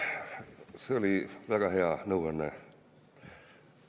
See oli väga hea nõuanne.